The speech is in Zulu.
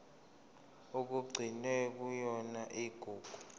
okugcinwe kuyona igugu